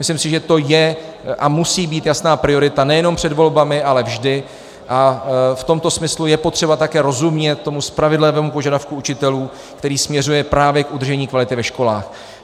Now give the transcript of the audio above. Myslím si, že to je a musí být jasná priorita nejenom před volbami, ale vždy, a v tomto smyslu je potřeba také rozumět tomu spravedlivému požadavku učitelů, který směřuje právě k udržení kvality ve školách.